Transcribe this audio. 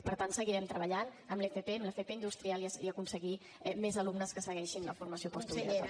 per tant seguirem treballant en l’fp en l’fp industrial i a aconseguir més alumnes que segueixin la formació postobligatòria